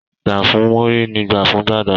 Gbà fún Múrí ni gbà fún Gbàdà.